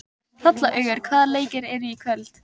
Hrollaugur, hvaða leikir eru í kvöld?